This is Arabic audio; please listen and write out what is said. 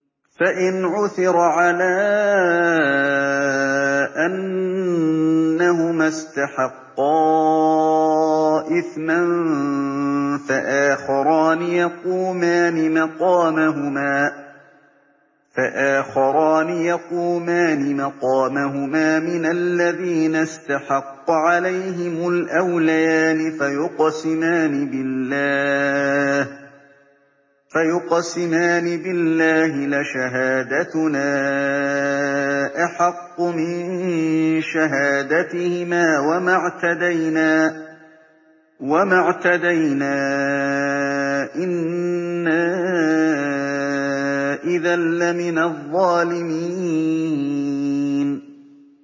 فَإِنْ عُثِرَ عَلَىٰ أَنَّهُمَا اسْتَحَقَّا إِثْمًا فَآخَرَانِ يَقُومَانِ مَقَامَهُمَا مِنَ الَّذِينَ اسْتَحَقَّ عَلَيْهِمُ الْأَوْلَيَانِ فَيُقْسِمَانِ بِاللَّهِ لَشَهَادَتُنَا أَحَقُّ مِن شَهَادَتِهِمَا وَمَا اعْتَدَيْنَا إِنَّا إِذًا لَّمِنَ الظَّالِمِينَ